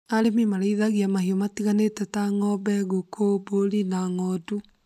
Arĩmĩ marĩthagia mahiũ matiganĩte ta ng'ombe, ngũkũ, mbũri na ng'ondu